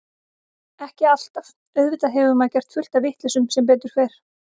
Ekki alltaf, auðvitað hefur maður gert fullt af vitleysum sem betur fer.